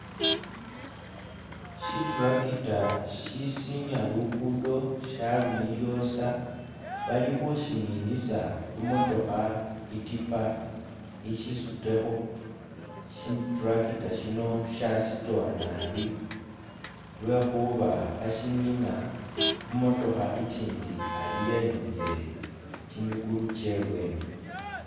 Shitractor shisinya lugudo shyalumiryosa Bali hushininisa humotoha itipa ishisuteho, shitractor shino shyasitowanabi lwehuba hashinina humotoha ichindi ali yenyuhile chimigulu chebweni